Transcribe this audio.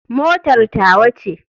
Motar tawa ce.